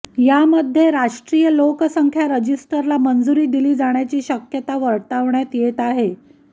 यामध्ये राष्ट्रीय लोकसंख्या रजिस्टरला मंजुरी दिली जाण्याची शक्यता वर्तवण्यात येत आहे